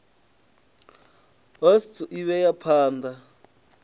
osts i vhea phan ḓa